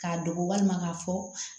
K'a dogo walima k'a fɔ